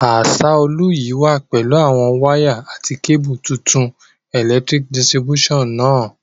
Asaolu yi wa pẹ̀lu àwon wire àti cable tuntun electric distribution náà